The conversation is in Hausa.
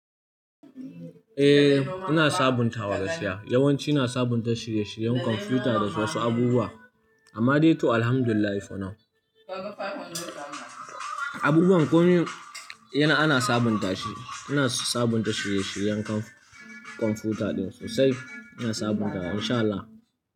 Eh, ina sabuntawa gaskiya. Yawanci ina sabunta shirye-shiryen kwamfuta da wasu abubuwa, amma dai to Alhamdulillah for now. Abubuwan komai ana sabunta shi, ina sabunta shirye-shiryen kwamfuta ɗin sosai, ina sabuntawa in sha Allah.